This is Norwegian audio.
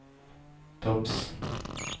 topps